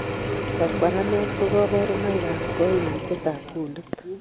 Kwarkwaranet ko kaborunoik ab kaimutyet ab kundit